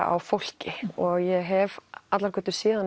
á fólki og ég hef allar götur síðan